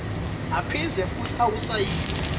aphindze futsi awusayine